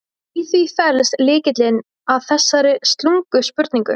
Í því felst lykillinn að þessari slungnu spurningu.